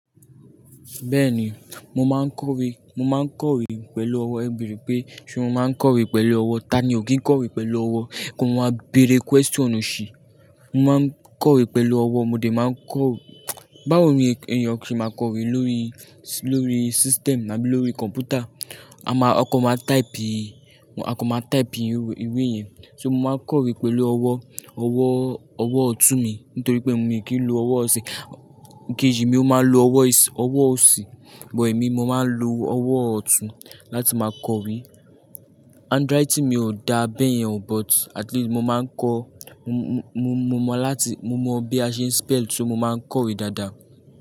Bẹ́ẹ̀ni, mo máa ń kọ̀wé, mo máa ń kọ̀wé pẹ̀lú ọwọ́. Ẹ bere pé ṣe mo máa ń kọ̀wé pẹ̀lú ọwọ́? Tani ò kí ń kọ̀wé pẹ̀lú ọwọ́? Ko máa bere question oṣí. Mo máa ń kọ̀wé pẹ̀lú ọwọ́, mo dè máa ń kọ̀-- báwo ni èèyàn ṣe máa kọ̀wé lórí, lórí system àbí lórí computer? A máa, ọkọ máa type, ọkọ máa type ìwé yẹn. Ṣé mo máa ń kọ̀wé pẹ̀lú ọwọ́? Ọwọ́, ọwọ́ ọ̀tún mi nítorí pé mi ò kí ń lo ọwọ́ ọ̀sẹ̀. Ǹkejì mi ó máa ń lo ọwọ́ ìs-- ọwọ́ ọ̀si, but èmi mo máa ń lo ọwọ́ ọ̀tún láti máa kọ̀wé. Handwriting mi ò dá bẹ́yẹn but at least mo máa ń kọ́, mo, mo, mo mọ láti, mo mọ bí a ṣe spell, ṣé mo máa ń kọ̀wé dáadáa?